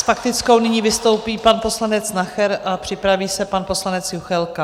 S faktickou nyní vystoupí pan poslanec Nacher a připraví se pan poslanec Juchelka.